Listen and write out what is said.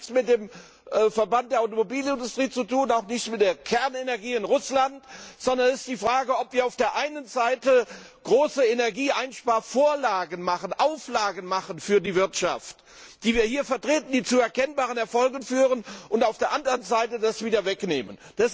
Es hat nichts mit dem Verband der Automobilindustrie zu tun, auch nicht mit der Kernenergie in Russland, sondern es geht darum, ob wir auf der einen Seite große Energieeinsparauflagen machen für die Wirtschaft, die wir hier vertreten, die zu erkennbaren Erfolgen führen, und auf der anderen Seite das wieder wegnehmen.